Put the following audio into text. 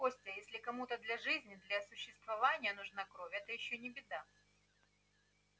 костя если кому-то для жизни для существования нужна кровь это ещё не беда